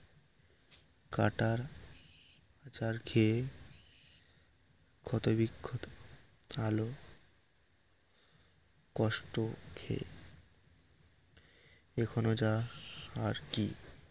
কাটার আছার খেয়ে ক্ষত বিক্ষত হল কষ্ট খেয়ে এখনও যা আর কি